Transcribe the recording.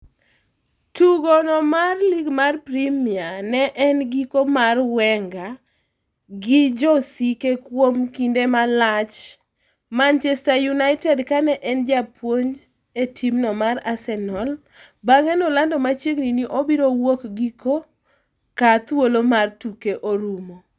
Tugo no mar lig mar Premiane en giko mar Wengergi josike kuom kinde malach Manchester United kane en japuonj e timno mar Arsenal bang'e nolando machiegni ni obiro wuok giko kar thuolo mar tuke rumo.